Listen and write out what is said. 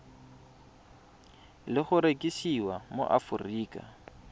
le go rekisiwa mo aforika